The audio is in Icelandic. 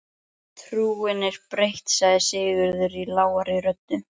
Trúin er breytt, sagði Sigurður lágri röddu.